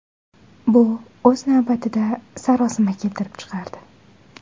Bu, o‘z navbatida, sarosima keltirib chiqardi.